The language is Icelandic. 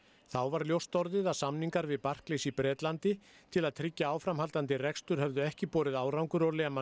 þá varð ljóst að samningar við Barclays í Bretlandi til að tryggja áframhaldandi rekstur höfðu ekki borið árangur og